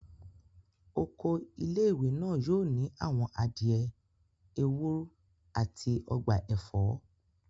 Oko ilé-ìwé náà yóò ní àwọn adìẹ, ewúr, àti ọgbà ẹ̀fọ́